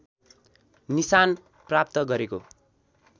निशान प्राप्त गरेको